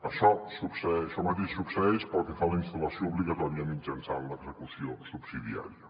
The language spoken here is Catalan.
això mateix succeeix pel que fa a la instal·lació obligatòria mitjançant l’execució subsidiària